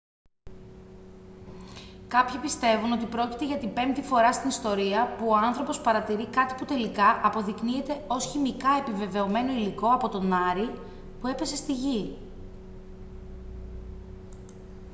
κάποιοι πιστεύουν ότι πρόκειται για την πέμπτη φορά στην ιστορία που ο άνθρωπος παρατηρεί κάτι που τελικά αποδεικνύεται ως χημικά επιβεβαιωμένο υλικό από τον άρη που έπεσε στη γη